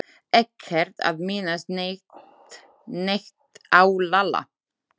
Ekkert að minnast neitt á Lalla.